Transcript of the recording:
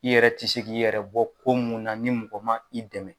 I yɛrɛ ti se k'i yɛrɛ bɔ ko munnu na ni mɔgɔ ma i dɛmɛ